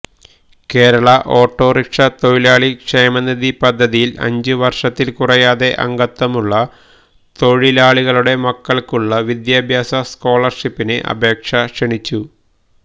Kerala autorickshaw തൊഴിലാളി ക്ഷേമനിധി പദ്ധതിയില് അഞ്ച് വര്ഷത്തില് കുറയാതെ അംഗത്വമുള്ള തൊഴിലാളികളുടെ മക്കള്ക്കുള്ള വിദ്യാഭ്യാസ സ്കേളര്ഷിപ്പിന് അപേക്ഷ ക്ഷണിച്ചു